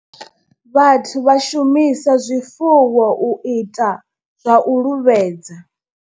Vhathu vha shumisa zwifuwo u ita zwa u luvhedza.